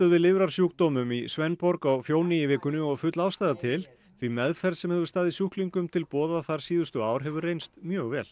við lifrarsjúkdómum í svendborg á í vikunni og full ástæða til því meðferð sem hefur staðið sjúklingum til boða þar síðustu ár hefur reynst mjög vel